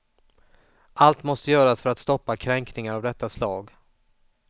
Allt måste göras för att stoppa kränkningar av detta slag.